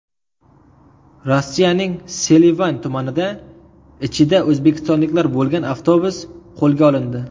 Rossiyaning Selivan tumanida ichida o‘zbekistonliklar bo‘lgan avtobus qo‘lga olindi.